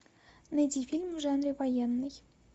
найди фильм в жанре военный